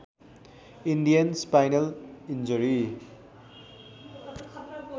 Indian spinal injury